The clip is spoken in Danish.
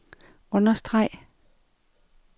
understreg